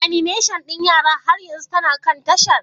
Animation ɗin yara har yanzu tana kan tashar?